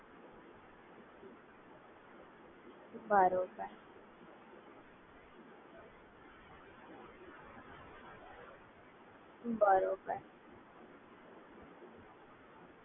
બરાબર છે આપણે આ Download application કરી અને યુઝ કરતા હોય છે ત્યારે બધું સેફજ હોય છે ને?